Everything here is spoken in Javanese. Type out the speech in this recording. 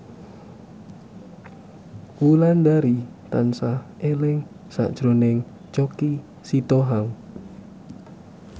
Wulandari tansah eling sakjroning Choky Sitohang